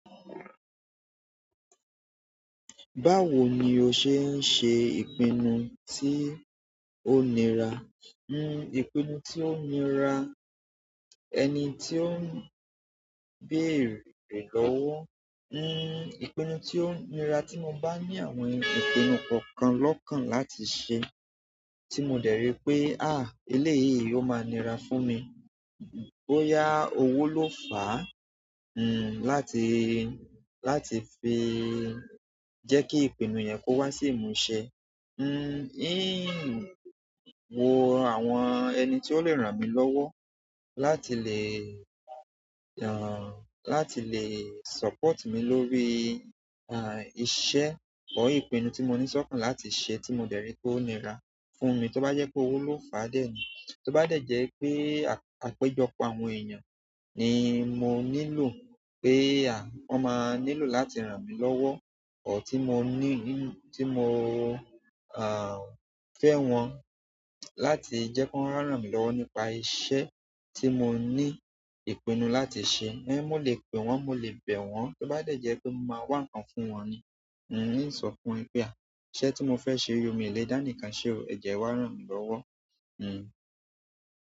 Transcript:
Báwo ni o ṣe ń ṣe ìpínnu tí ó ńira? Ní ìpinnu tí ó nira, ẹni tí ó ń beere lowó, ní ìpinnu tí ó nira tí mo bá ní àwọn ìpinnu kọ̀kan lọ́kan láti ṣe, tí mo dẹ̀rí pé, à eleyìí ó máa nira fún mi. Bóyá òwò ló fà á, n láti, láti fi jẹ́ kí ìpinnu yẹn kó wá sí ìmúṣẹ. N-ín wo àwọn ẹni tí ó le ràn mí lọ́wọ́ láti lè, à, láti lè support mi lórí, à, iṣẹ́ ọ̀ ìpinnu tí mo níṣe kàn láti ṣe tí mo dẹ̀rí pé ó nira fún mi, tó bá jẹ́ pé owó ló fà á dé, tó bá dẹ̀ jẹ́ pé àpéjọpọ̀ àwọn èèyàn ni mò nílò pé, à, wọ́n máa nílò láti ràn mí lọ́wọ́, ọ̀ tí mò ní, tí mò, à, fẹ́ wọn láti jẹ́ kí wọ́n ràn mí lọ́wọ́ nípa iṣẹ̀ tí mò ní ìpinnu láti ṣe. Ní mò lè pè wọ́n, mò lè bẹ̀ wọ́n, tó bá dẹ̀ jẹ́ pé mò máa wá ń kàn fún wọn ni. N sọ fún wọn pé, à, iṣẹ́ tí mò fẹ́ ṣe yi ò mi lè dá nìkan ṣe, ẹ̀jo e wà ràn mí lọ́wọ́, n.